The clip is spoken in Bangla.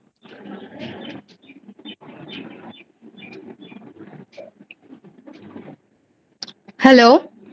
hello